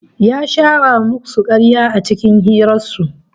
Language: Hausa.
Ya shara musu karya a cikin hirar su